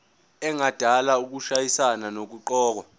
engadala ukushayisana nokuqokwa